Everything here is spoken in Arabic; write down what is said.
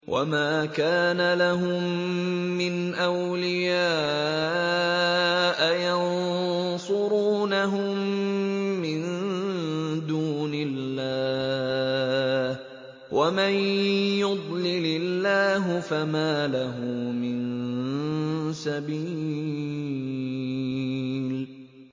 وَمَا كَانَ لَهُم مِّنْ أَوْلِيَاءَ يَنصُرُونَهُم مِّن دُونِ اللَّهِ ۗ وَمَن يُضْلِلِ اللَّهُ فَمَا لَهُ مِن سَبِيلٍ